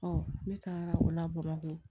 ne taara o la bamakɔ